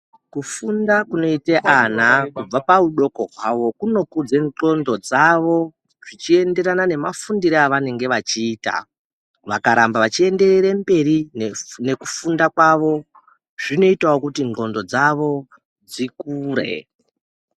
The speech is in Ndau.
Kufunda kunoita vana kubva pahudoko hwavo kunokudze ndxondo dzavo zvichienderana nemafundiro avanoita vakaramba vachienderera mberi nekufunda kwavo zvinoitawo kuti ndxondo dzavo dzikure.